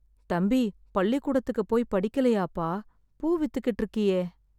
தம்பி பள்ளிக்கூடத்துக்கு போய் படிக்கலையா பா? பூ வித்துக்கிட்டு இருக்கியே.